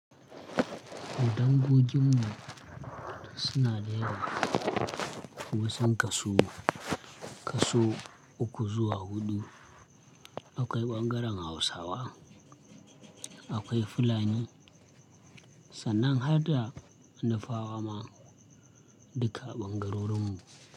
Dangogin mu suna da yawa. Wasun kasu kaso uku zuwa hudu. Akwai ɓangaren Hausawa, akwai Fulani sannan har da Nufawa ma duka a ɓangarorin mu.